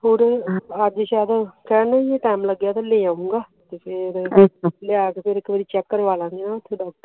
ਅੱਜ ਸ਼ਾਇਦ ਕਹਿਣ ਨੂੰ ਟਾਇਮ ਲੱਗਿਆ ਤੇ ਲੈ ਜਾਉਂਗਾ ਲੈ ਜਾ ਕੇ ਚੇਕ ਕਰਵਾ ਲਾਗੇ